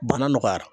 Bana nɔgɔyara